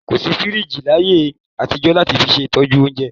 Kò sí fíríjì láyé àtijọ́ láti fi ṣe ìtọ́jú oúnjẹ.